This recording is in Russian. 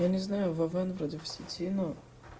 я не знаю вован вроде в сети но